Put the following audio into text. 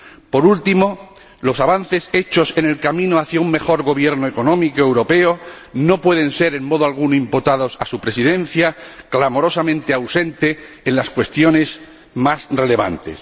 Por último, los avances hechos en el camino hacia un mejor gobierno económico europeo no pueden ser, en modo alguno, imputados a su Presidencia, clamorosamente ausente en las cuestiones más relevantes.